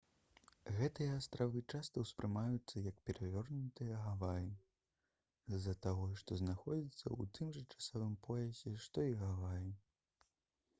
гэтыя астравы часта ўспрымаюцца як «перавернутыя гаваі» з-за таго што знаходзяцца ў тым жа часавым поясе што і гаваі